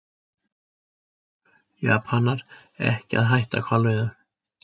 Japanar ekki að hætta hvalveiðum